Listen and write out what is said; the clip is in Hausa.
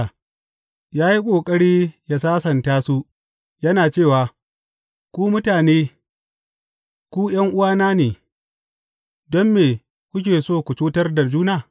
Ya yi ƙoƙari ya sasanta su, yana cewa, Ku mutane, ku ’yan’uwa ne, don me kuke so ku cutar da juna?’